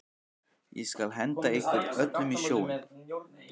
Ég skal henda ykkur öllum í sjóinn!